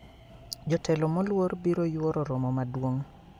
Jotelo moluor biro yuoro romo maduong`